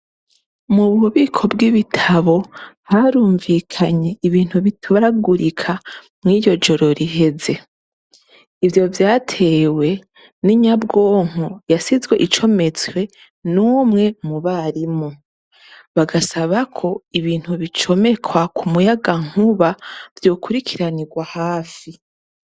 Mu bubiko bw'ibitabo harumvikanye ibintu bituragurika muri iryo joro riheze. Ivyo vyatewe n'inyabwonko yasizwe icometswe n'umwe mu barimu, bagasaba ko ibintu bicomekwa ku muyagankuba vyokurikiranirwa hafi.